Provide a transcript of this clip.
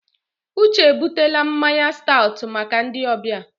Uche ebutele mmanya stat maka ndị ọbịa.